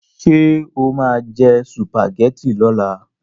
Ṣé o máa jẹ sùpàgẹ́tì lọ́la?